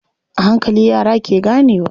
A hankali, yara ke ganewa.